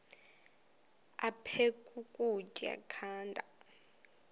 aphek ukutya canda